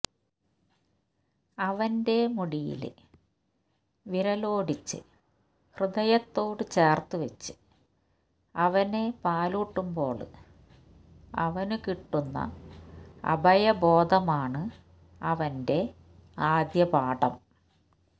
അവന്റെ മുടിയില് വിരലോടിച്ച് ഹൃദയത്തോട് ചേര്ത്തുവച്ച് അവനെ പാലൂട്ടുമ്പോള് അവന് കിട്ടുന്ന അഭയബോധമാണ് അവന്റെ ആദ്യപാഠം